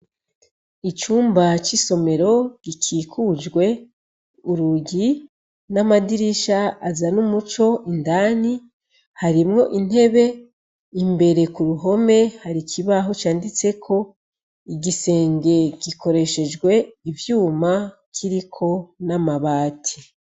Icumba c'isomero gikikujwe urugi n'amadirisha azana umuco indani, harimwo intebe, imbere ku ruhome hari kibaho canditseko , igisenge gikoreshejwe ivyuma kiriko n'amabati.